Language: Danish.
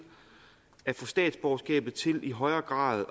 at få statsborgerskabet til i højere grad